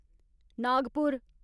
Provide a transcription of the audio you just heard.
Nagpur